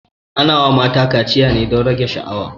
Ana wa mata kaciya ne don rage sha'awa